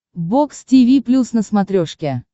бокс тиви плюс на смотрешке